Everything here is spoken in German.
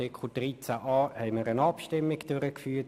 Zu Artikel 13a führten wir eine Abstimmung durch.